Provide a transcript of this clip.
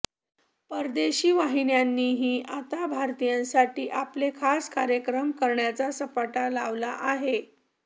परदेशी वाहिन्यांनीही आता भारतीयांसाठी आपले खास कार्यक्रम करण्याचा सपाटा लावला आहे